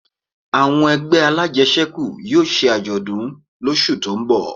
Àwọn ẹgbẹ́ alájẹsẹ́kù yóò ṣe àjọ̀dún lósù tó ń bọ̀